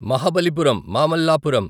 Mahabalipuram Mamallapuram